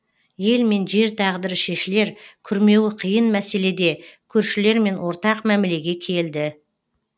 ел мен жер тағдыры шешілер күрмеуі қиын мәселеде көршілермен ортақ мәмілеге келді